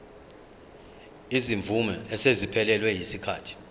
izimvume eseziphelelwe yisikhathi